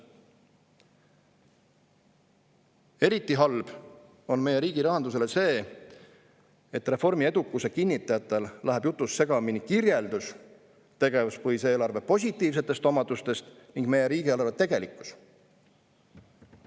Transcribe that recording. Eriti halb on meie riigi rahandusele see, et reformi edukuse kinnitajatel läheb jutus segamini kirjeldus tegevuspõhise eelarve positiivsetest omadustest ning meie riigieelarve tegelikkus.